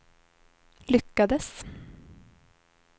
lyckades